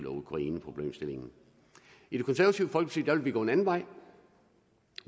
ukraineproblemstillingen i det konservative folkeparti vil vi gå en anden vej